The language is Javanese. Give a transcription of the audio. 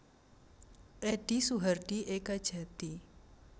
Edi Suhardi Ekajati